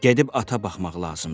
Gedib ata baxmaq lazımdır.